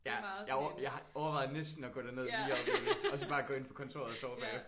Ja jeg har overvejet næsten at gå derned lige at opleve det og så bare gå ind på kontoret og sove bagefter